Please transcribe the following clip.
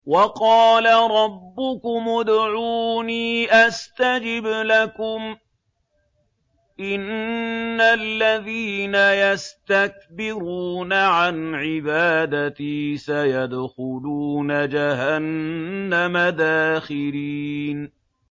وَقَالَ رَبُّكُمُ ادْعُونِي أَسْتَجِبْ لَكُمْ ۚ إِنَّ الَّذِينَ يَسْتَكْبِرُونَ عَنْ عِبَادَتِي سَيَدْخُلُونَ جَهَنَّمَ دَاخِرِينَ